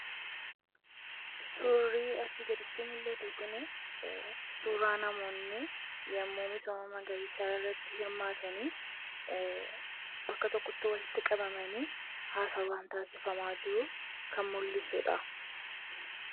Suuraa kanaa gadii irratti kan argamu kun suuraa yeroo namoonni misooma magariisaa irratti argaman kan mul'isuu dha. Akkasumas bakka tokkotti walitti qabamuun yeroo haasaan taasifamaa jiru kan mul'isuu dha.